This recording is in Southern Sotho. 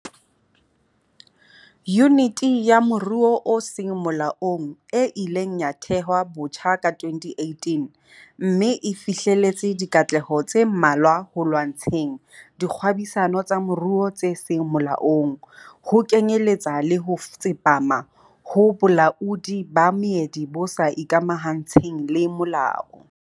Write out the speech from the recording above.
Yuniti ya Moruo o Seng Molaong e ileng ya thehwa botjha ka 2018 mme e fihleletse dikatleho tse mmalwa ho lwantsheng dikgwebisano tsa moruo tse seng molaong, ho kenyeletsa le ho tsepama ho bolaodi ba meedi bo sa ikamahantsheng le molao.